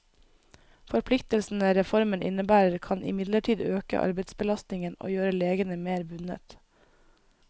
Forpliktelsene reformen innebærer, kan imidlertid øke arbeidsbelastningen og gjøre legene mer bundet.